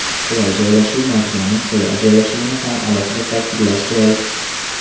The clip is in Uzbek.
Qulay joylashuv Majmuaning qulay joylashuvini ham alohida ta’kidlash joiz.